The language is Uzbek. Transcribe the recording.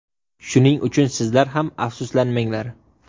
Shuning uchun sizlar ham afsuslanmanglar.